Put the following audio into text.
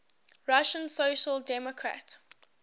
russian social democratic